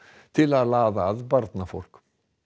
til að laða að barnafólk